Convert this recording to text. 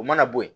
O mana bo ye